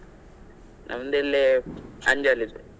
ನಮ್ದು ಇಲ್ಲಿ ಅಂಜಲ್ ಇದ್ದು.